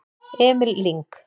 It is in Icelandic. Emil Lyng